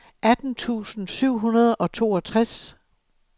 atten tusind syv hundrede og toogtres